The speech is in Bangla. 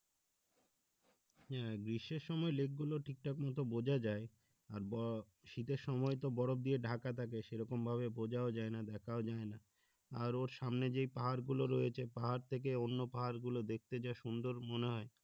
হ্যাঁ গ্রীষ্মের সময় lake গুলো ঠিকঠাক মতো বোঝা যায় আর ব শীতের সময়তো বরফ দিয়ে ঢাকা থাকে সেরকম ভাবে বোঝাও যায় না দেখাও যায় না আর ওর সামনে যেই পাহাড় গুলো রয়েছে পাহাড় থেকে অনন্যা পাহাড় গুলো দেখতে যা সুন্দর মনে হয়